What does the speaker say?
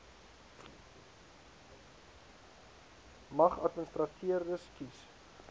mag administrateurders kies